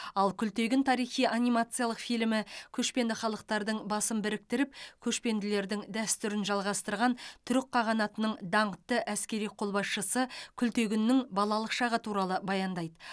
ал күлтегін тарихи анимациялық фильмі көшпенді халықтардың басын біріктіріп көшпенділердің дәстүрін жалғастырған түрік қағанатының даңқты әскери қолбасшысы күлтегіннің балалық шағы туралы баяндайды